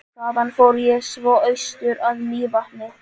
Þaðan fór ég svo austur að Mývatni.